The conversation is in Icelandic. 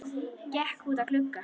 Gekk út að glugga.